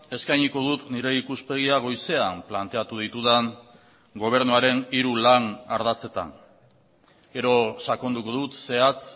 eskainiko dut nire ikuspegia goizean planteatu ditudan gobernuaren hiru lan ardatzetan gero sakonduko dut zehatz